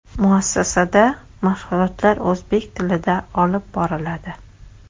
Muassasada mashg‘ulotlar o‘zbek tilida olib boriladi.